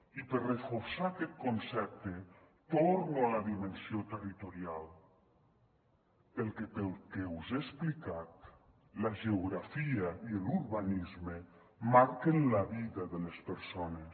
i per reforçar aquest concepte torno a la dimensió territorial perquè pel que us he explicat la geografia i l’urbanisme marquen la vida de les persones